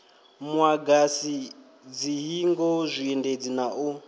muagasi dzihingo zwiendedzi na u